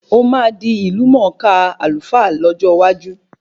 Ó máa di ìlú mọ kaa Alfa lọ́jọ́ iwájú